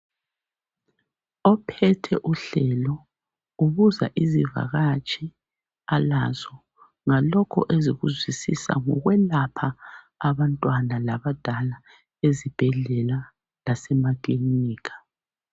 Ophethe uhlelo ubuza izivakatshi alazo ngalokhu ezikuzwisisa ngokwelapha abantwana labadala ezibhedlela lasemakilinika.